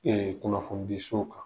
kunnafoni di so kan.